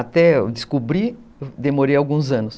Até eu descobri, demorei alguns anos.